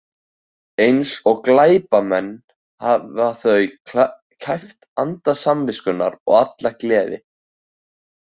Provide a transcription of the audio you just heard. Eins og glæpamenn hafa þau kæft anda samviskunnar og alla gleði.